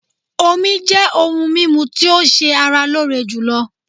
Omí jẹ́ òhún mímú tí o ṣé ara lóore jùlọ.